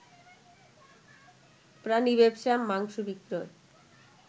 প্রাণী ব্যবসা, মাংস বিক্রয়